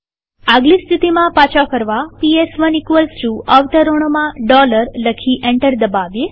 આગલી સ્થિતિમાં પાછા ફરવા પીએસ1 અવતરણોમાં લખી એન્ટર દબાવીએ